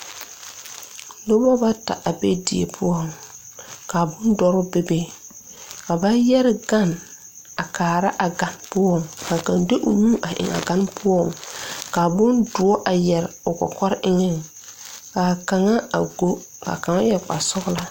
Nobɔ bata a be die poɔŋ ka bondɔɔ bebe ka ba yɛre gan a kaara a gan poɔ kaa kaŋ de o nu a eŋaa gan poɔ kaa bondoɔ a yɛre o kɔkɔre eŋɛŋ kaa kaŋa a go kaa kaŋ yɛre kpare sɔglaa.